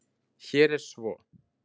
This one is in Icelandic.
Hér er svo